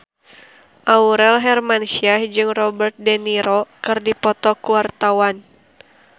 Aurel Hermansyah jeung Robert de Niro keur dipoto ku wartawan